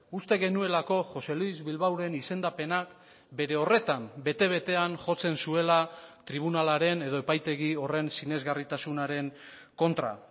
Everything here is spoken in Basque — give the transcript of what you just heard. uste genuelako josé luis bilbaoren izendapenak bere horretan bete betean jotzen zuela tribunalaren edo epaitegi horren sinesgarritasunaren kontra